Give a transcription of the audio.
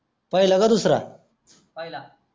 पहिला का दुसरा